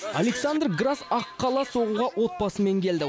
александр грасс аққала соғуға отбасымен келді